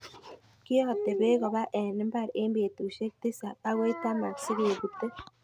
Kiyote beek koba en mbar en betusiek tisab akoi taman sikebute.